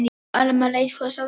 Amma leit hvöss á hann.